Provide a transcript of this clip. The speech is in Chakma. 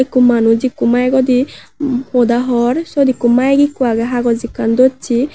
ikko manuj ikko maego di hoda hor syot ikko maek ikko agey hagoj ekkan dossey.